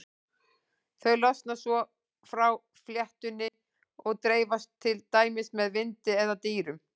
Þau losna svo frá fléttunni og dreifast til dæmis með vindi eða dýrum.